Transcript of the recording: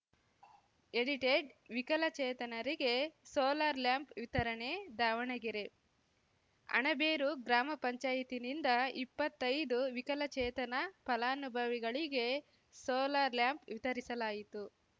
edited ವಿಕಲಚೇತನರಿಗೆ solar lamp ವಿತರಣೆ ದಾವಣಗೆರೆ ಅಣಬೇರು ಗ್ರಾಮ ಪಂಚಾಯ್ತಿನಿಂದ ಇಪ್ಪತ್ತೈದು ವಿಕಲಚೇತನ ಫಲಾನುಭವಿಗಳಿಗೆ ಸೋಲಾರ್‌ ಲ್ಯಾಂಪ್‌ ವಿತರಿಸಲಾಯಿತು